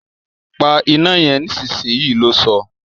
Pa iná yen nísinsìnyí! lo sọ́